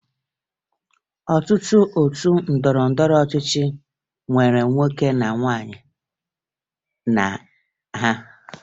Ọtụtụ otu ndọrọndọrọ ọchịchị nwere nwoke na nwaanyị na ha